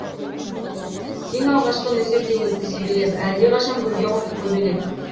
ең алғашқы нөсер де өтті себелеп әлдеқашан гүлге қонды көбелек